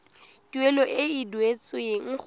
tuelo e e duetsweng go